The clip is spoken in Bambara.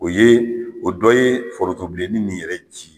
O ye o dɔ ye foronto bilenni nin yɛrɛ ci